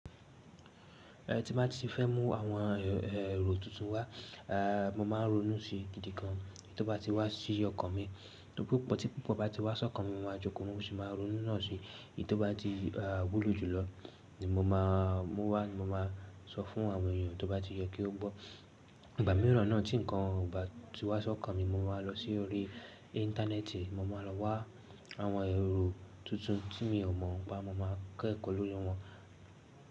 Tí mo bá ti fẹ́ mú àwọn èrò tuntun wá, mo máa ń ronú sí gidi gan, èyí tó bá ti wá sí ọkàn mi. Níbo tí púpọ̀ bá ti wá sọ́kàn mi, mo máa joko, mo sì máa ronú náà si. Èyí tó bá ti, a, wúlò jùlọ ni mo máa mú wá ni mo máa sọ fún àwọn èyàn tó bá ti yẹ kí ó gbọ́. Ìgbà mìíràn náà tí nǹkan ò bá ti wá sọ́kàn mi, mo máa lọ sí orí íńtánẹ́ẹ̀tì, mo máa lọ wá àwọn èrò tuntun tí mi ò mọ̀ ọ́n pá. Mo máa kẹ́kọ̀ọ́ lórí wọn.